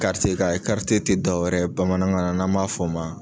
tI dɔwɛrɛ ye bamanankan na n'an m'a f'o ma